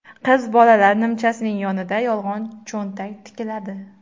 Qiz bolalar nimchasining yonida yolg‘on cho‘ntak tikiladi.